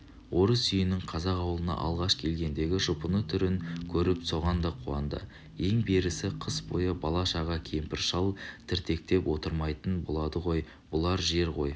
орыс үйінің қазақ ауылына алғаш келгендегі жұпыны түрін көріп соған да қуанды ең берісі қыс бойы бала-шаға кемпір-шал дірдектеп отырмайтын болады ғой бұлар жер үй